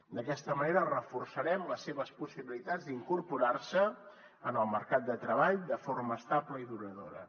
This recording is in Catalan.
d’aquesta manera reforçarem les seves possibilitats d’incorporar se en el mercat de treball de forma estable i duradora